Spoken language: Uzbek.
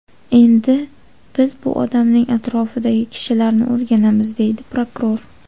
Endi biz bu odamning atrofidagi kishilarni o‘rganamiz”, dedi prokuror.